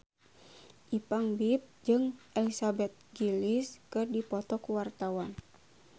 Ipank BIP jeung Elizabeth Gillies keur dipoto ku wartawan